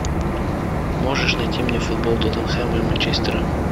можешь найти мне футбол тоттенхэма и манчестера